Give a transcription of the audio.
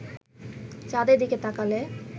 চাঁদের দিকে তাকালে